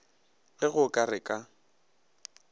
ge go ka re ka